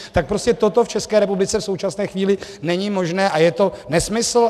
Tak prostě toto v České republice v současné chvíli není možné a je to nesmysl.